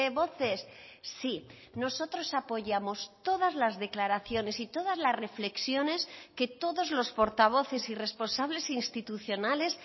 voces sí nosotros apoyamos todas las declaraciones y todas las reflexiones que todos los portavoces y responsables institucionales